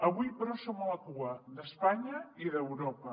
avui però som a la cua d’espanya i d’europa